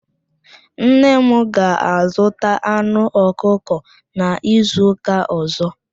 Nne m ga-azụta anụ ọkụkọ n'izuụka ọ̀zọ́.